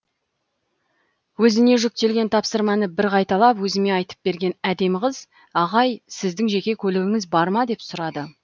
өзіне жүктелген тапсырманы бір қайталап өзіме айтып берген әдемі қыз ағай сіздің жеке көлігіңіз бар ма деп сұрады